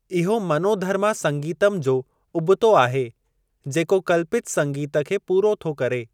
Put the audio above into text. इहो मनोधर्मा संगीतम जो उबतो आहे, जेको कल्पित संगीत खे पूरो थो करे।